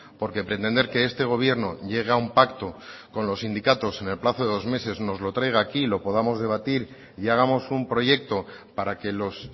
porque pretender que este gobierno llegue a un pacto con los sindicatos en el plazo de dos meses nos lo traiga aquí y lo podamos debatir y hagamos un proyecto para que los